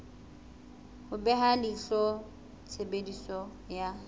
ho beha leihlo tshebediso ya